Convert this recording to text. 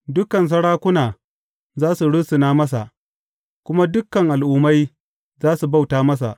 Dukan sarakuna za su rusuna masa kuma dukan al’ummai za su bauta masa.